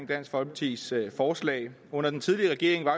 dansk folkepartis forslag under den tidligere regering var